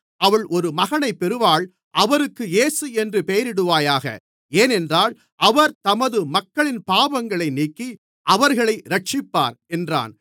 அவள் ஒரு மகனைப் பெறுவாள் அவருக்கு இயேசு என்று பெயரிடுவாயாக ஏனென்றால் அவர் தமது மக்களின் பாவங்களை நீக்கி அவர்களை இரட்சிப்பார் என்றான்